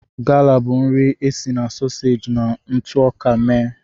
Gala bụ nri e si na soseji na ntụ ọka mee.